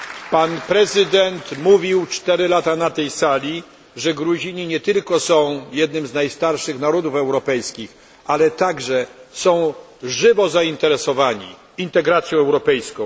Pan prezydent mówił cztery lata temu na tej sali, że Gruzini nie tylko są jednym z najstarszych narodów europejskich, ale także są żywo zainteresowani integracją europejską.